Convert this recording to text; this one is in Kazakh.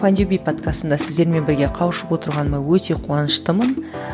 файндюби подкастында сіздермен бірге қауышып отырғаныма өте қуаныштымын